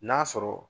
N'a sɔrɔ